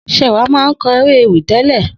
Sewa má kõ eré-èwí télé